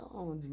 Aonde?